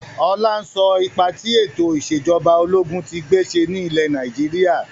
Ọlá ń sọ ipa tí ètò ìsèjọba ológun tí gbé ṣe ni ilẹ̀ Nàìjíríà.